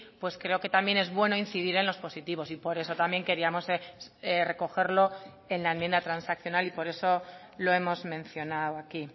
pues creo que también es bueno incidir en los positivos y por eso también queríamos recogerlo en la enmienda transaccional y por eso lo hemos mencionado aquí